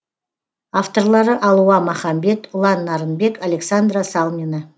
авторлары алуа махамбет ұлан нарынбек александра салмина